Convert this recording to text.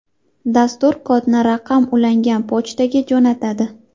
Dastur kodni raqam ulangan pochtaga jo‘natadi.